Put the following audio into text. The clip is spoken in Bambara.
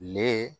Ne